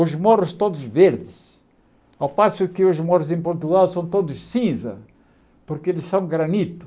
Os morros todos verdes, ao passo que os morros em Portugal são todos cinza, porque eles são granito.